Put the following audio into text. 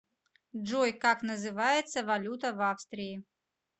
джой как называется валюта в австрии